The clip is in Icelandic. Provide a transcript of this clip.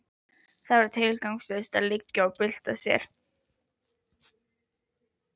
Það var tilgangslaust að liggja og bylta sér.